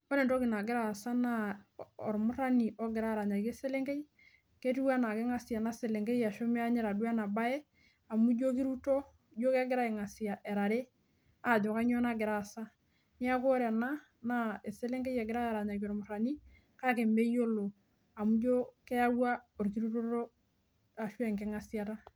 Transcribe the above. Ore entoki nagira aasa naa ormurani ogira aranyaki eselenkei. Keitu anaa keingasie ena selenkei ashuu meenyita duo eba bae amu ijio keiruto, ijio kegira aingasia era are aajo kainyoo nagira aasa. Niaku ire ena naaeselenkei egirai aaranyaki olmurani kake imeyiolo amu ijio keyaua orkirutoto ashu enkingasiata